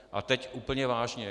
A teď úplně vážně.